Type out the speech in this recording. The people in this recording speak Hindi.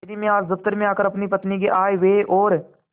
यदि मैं आज दफ्तर में आकर अपनी पत्नी के आयव्यय और